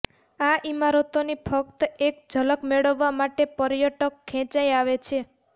આ ઈમારતોની ફક્ત એક ઝલક મેળવવા માટે પર્યટક ખેંચાઈ આવે છે